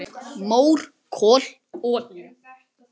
Mór, kol, olía